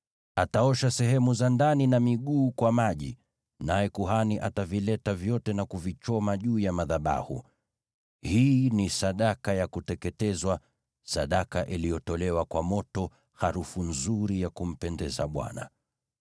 Ataosha sehemu za ndani na miguu kwa maji, naye kuhani atavileta vyote na kuvichoma juu ya madhabahu. Hii ni sadaka ya kuteketezwa, sadaka iliyotolewa kwa moto, harufu nzuri ya kumpendeza Bwana .